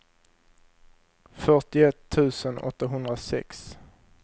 fyrtioett tusen åttahundrasex